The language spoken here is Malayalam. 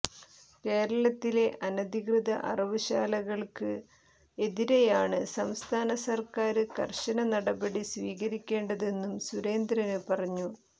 കേരളത്തിലെ അനധികൃത അറവ് ശാലകള്ക്ക് എതിരെയാണ് സംസ്ഥാന സര്ക്കാര് കര്ശന നടപടി സ്വീകരിക്കേണ്ടതെന്നും സുരേന്ദ്രന് പറഞ്ഞു